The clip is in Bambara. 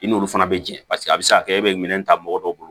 I n'olu fana be jɛ paseke a bɛ se ka kɛ e bɛ minɛn ta mɔgɔ dɔw bolo